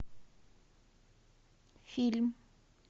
фильм